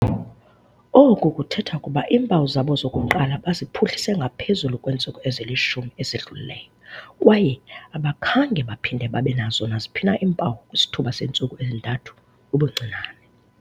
Oku kuthetha ukuba iimpawu zabo zokuqala baziphuhlise ngaphezulu kweentsuku ezili-10 ezidlulileyo kwaye abakhange baphinde babe nazo naziphi na iimpawu kwisithuba seentsuku ezintathu ubuncinane.